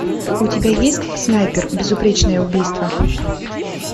у тебя есть снайпер безупречное убийство